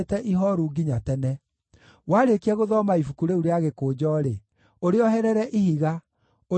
Warĩkia gũthoma ibuku rĩu rĩa gĩkũnjo-rĩ, ũrĩoherere ihiga, ũrĩikie Rũũĩ rwa Farati.